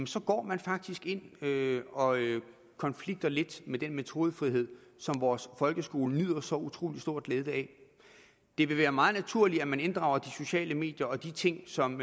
så går man faktisk ind og konflikter lidt med den metodefrihed som vores folkeskole har så utrolig stor glæde af det vil være meget naturligt at man inddrager de sociale medier og de ting som